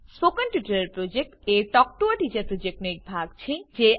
spoken tutorial project a talk to a teacher પ્રોજેક્ટનો એક ભાગ છે